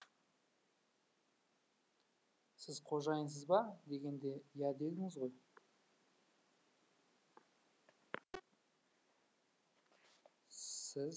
сіз қожайынсыз ба дегенде иә дедіңіз ғой